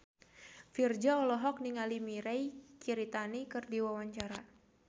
Virzha olohok ningali Mirei Kiritani keur diwawancara